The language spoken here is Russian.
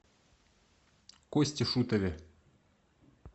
косте шутове